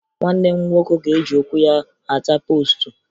Nwanne m nwoke ga-eji ụkwụ ya hata poostu